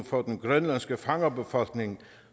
for den grønlandske fangerbefolkning